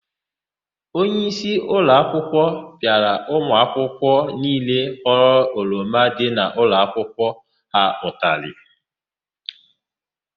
Onyeisi ụlọakwụkwọ pịara ụmụakwụkwọ niile ghọrọ oroma dị n'ụlọakwụkwọ ha ụtalị.